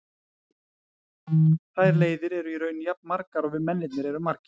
Þær leiðir eru í raun jafn margar og við mennirnir erum margir.